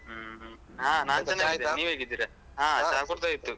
ಹ್ಮ್ ಹ್ಮ್ ಹಾ ನಾನ್ ಚೆನ್ನಾಗಿದ್ದೀನಿ ನೀವ್ ಹೇಗಿದ್ದೀರಾ ಹಾ ಚಾ ಕುಡ್ದಾಯ್ತು.